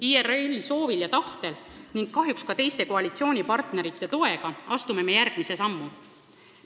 IRL-i soovil ja tahtel ning kahjuks ka teiste koalitsioonipartnerite toega astume järgmise sammu!